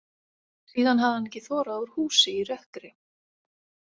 Síðan hafði hann ekki þorað úr húsi í rökkri.